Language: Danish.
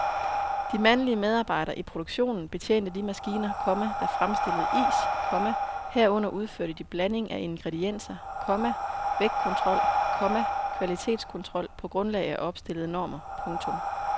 De mandlige medarbejdere i produktionen betjente de maskiner, komma der fremstillede is, komma herunder udførte de blanding af ingredienser, komma vægtkontrol, komma kvalitetskontrol på grundlag af opstillede normer. punktum